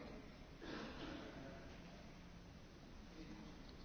Frau Präsidentin, liebe Kolleginnen und Kollegen!